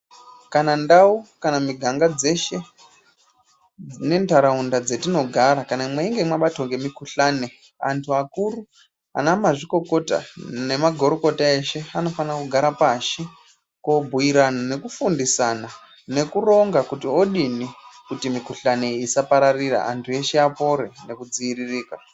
Kana ndau kana miganga dzeshe nentaraunda dzatinogara kana mweinge mwabatwa ngemikhuhlani antu akuru anamazvikokota nemagurukota eshe anofana kogara pashi kobhiirana nekufundisana nekuronga kuti odini kuti mikhuhlani isapararira antu eshe apore nekudziiririka.